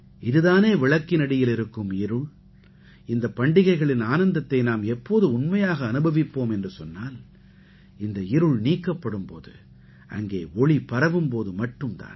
இது தானே விளக்கினடியில் இருக்கும் இருள் இந்தப் பண்டிகைகளின் ஆனந்தத்தை நாம் எப்போது உண்மையாக அனுபவிப்போம் என்று சொன்னால் இந்த இருள் நீக்கப்படும் போதும் அங்கே ஒளி பரவும் போது மட்டும் தான்